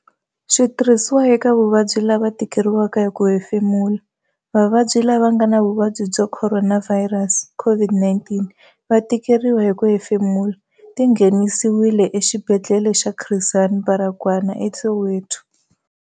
Xitirhisiwa eka vavabyi lava tikeriwaka hi ku hemfemula. Vavabyi lava nga na vuvabyi bya khoronavhayirasi, COVID-19, va tikeriwa hi ku hefemula. Ti nghenisi-wile Exibedhlele xa Chris Hani Baragwanath eSoweto.